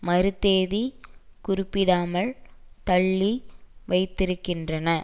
மறுதேதி குறிப்பிடாமல் தள்ளி வைத்திருக்கின்றன